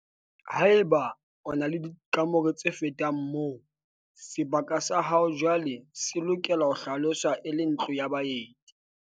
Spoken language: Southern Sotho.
Haeba o na le dikamore tse fetang moo, sebaka sa hao jwaale se lokela ho hlaloswa e le ntlo ya baeti.